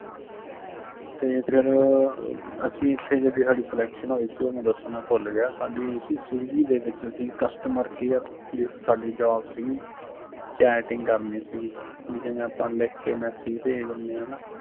ਤੇ ਫਿਰ ਅਸੀਂ ਇੱਥੇ ਜਿਹੜੀ ਸਾਡੀ selection ਹੋਈ ਸੀ ਉਹ ਮੈਂ ਦਸਣਾ ਭੁੱਲ ਗਿਆ, ਸਾਡੀ ਹੋਈ ਸੀ swiggy ਦੇ ਵਿੱਚ ਸੀ customer care ਦੀ ਸਾਡੀ job ਸਿਗੀ, chatting ਕਰਣੀ ਸਿਗੀ, ਬੀ ਜਿਵੇਂ ਆਪਾਂ ਲਿੱਖ ਕੇ message ਭੇਜ ਦਿੱਨੇ ਆਂ ਨਾ